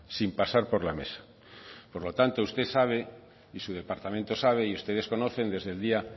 sin pasar por la mesa por lo tanto usted sabe y su departamento sabe y ustedes conocen desde el día